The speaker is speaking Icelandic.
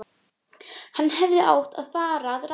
Hann hefði átt að fara að ráðum